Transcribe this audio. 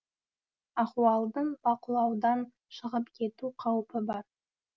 ахуалдың бақылаудан шығып кету қаупі бар